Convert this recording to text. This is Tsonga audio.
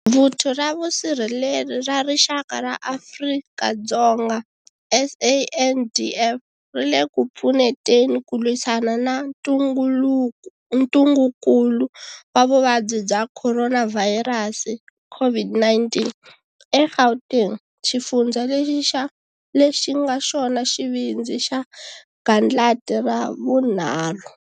Vuthu ra Vusirheleri ra Rixaka ra Afrika-Dzonga, SANDF, ri le ku pfuneteni ku lwisana na ntungukulu wa Vuvabyi bya Khoronavhayirasi, COVID-19, eGauteng, xifundza lexi nga xona xivindzi xa gandlati ra vunharhu.